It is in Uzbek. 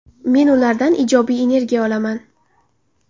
Men ulardan ijobiy energiya olaman.